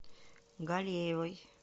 галеевой